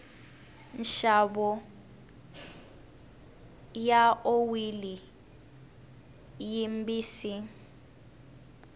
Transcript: nxavo wa oyili yimbisi